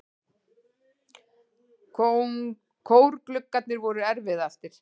Kórgluggarnir voru erfiðastir.